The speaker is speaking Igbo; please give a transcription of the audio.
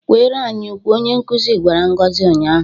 "Kweere anyị ukwe!," onye nkuzi gwara Ngozi unyaahụ.